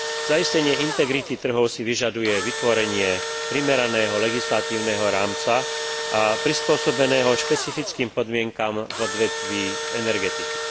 Zaistenie integrity trhov si vyžaduje vytvorenie primeraného legislatívneho rámca prispôsobeného špecifickým podmienkam v odvetví energetiky.